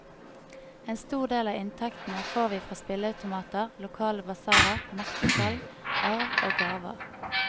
En stor del av inntektene får vi fra spilleautomater, lokale basarer, merkesalg, arv og gaver.